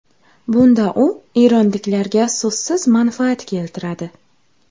Bunda u eronliklarga so‘zsiz manfaat keltiradi.